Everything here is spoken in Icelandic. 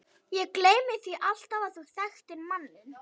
Ég gleymi því alltaf að þú þekktir manninn.